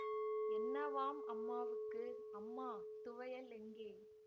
என்னவாம் அம்மாவுக்கு அம்மா துவையல் எங்கே